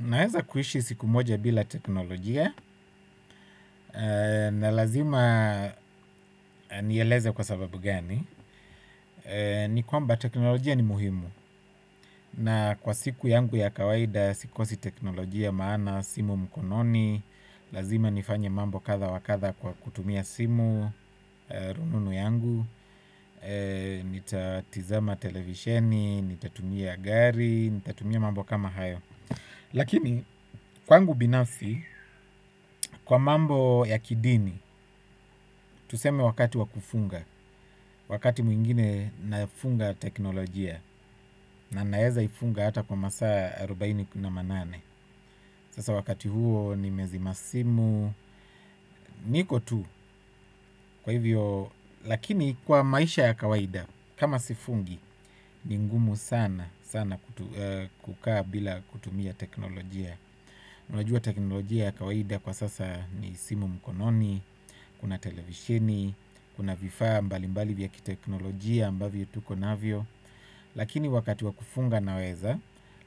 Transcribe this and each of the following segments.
Naeza kuishi siku moja bila teknolojia na lazima nieleze kwa sababu gani. Ni kwamba teknolojia ni muhimu na kwa siku yangu ya kawaida sikosi teknolojia maana simu mkononi lazima nifanye mambo kadhaa wa kadhaa kwa kutumia simu rununu yangu, nita tizama televisheni nita tumia gari nita tumia mambo kama hayo. Lakini kwangu binafsi kwa mambo ya kidini tuseme wakati wa kufunga wakati mwingine nafunga teknolojia na naeza ifunga hata kwa masaa arubaine kumi na nane. Sasaa wakati huo nime zima simu niko tu kwa hivyo lakini kwa maisha ya kawaida kama sifungi ni ngumu sana sana kukaa bila kutumia teknolojia. Najua teknolojia ya kawaida kwa sasa ni simu mkononi kuna televisheni kuna vifaa mbali mbali vya kiteknolojia ambavyo tuko navyo. Lakini wakati wa kufunga naweza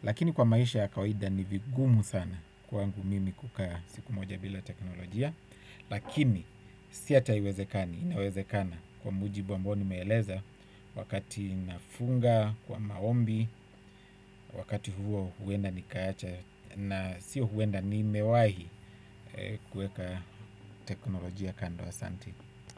lakini kwa maisha ya kawaida ni vigumu sana kwangu mimi kukaa siku moja bila teknolojia. Lakini si hata haiwezekani, inawezekana kwa mujibu ambao nimeeleza wakati nafunga kwa maombi. Wakati huo huwenda nikaacha na sio huwenda nimewahi kuweka teknolojia kando asanti.